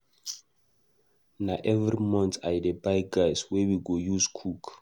Na every month I dey buy gas wey we go use cook.